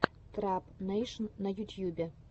трап нэйшн на ютьюбе